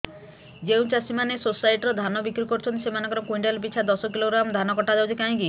ଯେଉଁ ଚାଷୀ ମାନେ ସୋସାଇଟି ରେ ଧାନ ବିକ୍ରି କରୁଛନ୍ତି ସେମାନଙ୍କର କୁଇଣ୍ଟାଲ ପିଛା ଦଶ କିଲୋଗ୍ରାମ ଧାନ କଟା ଯାଉଛି କାହିଁକି